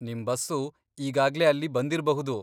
ನಿಮ್ ಬಸ್ಸು ಈಗಾಗ್ಲೇ ಅಲ್ಲಿ ಬಂದಿರ್ಬಹುದು.